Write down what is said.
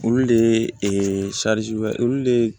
Olu de ye olu de ye